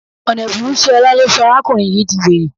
Ọ̀nà ẹ̀bùrú sí ọlà ló sọ arákùnrin yìí di were